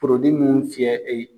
mun fiyɛ